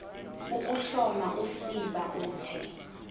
ukuhloma usiba uthi